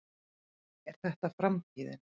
Er þetta framtíðin?